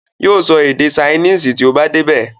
Yóò sọ èdè saínìsì tí ó bá dé ibẹ̀.